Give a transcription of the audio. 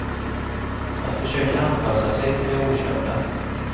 Att försöka anpassa sig till det okända.